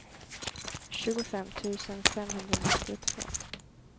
tjugofem tusen femhundranittiotvå